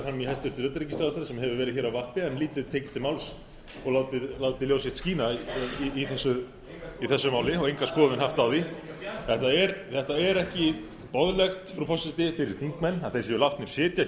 kallar hæstvirts utanríkisráðherra fram í sem hefur verið hér á vappi en lítið tekið til máls og látið ljós sitt skína í þessu máli og enga skoðun haft á því þetta er ekki boðlegt frú forseti fyrir þingmenn að þeir séu látnir sitja